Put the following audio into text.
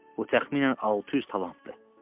Bu təxminən 600 talantdır.